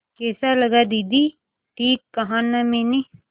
कैसा लगा दीदी ठीक कहा न मैंने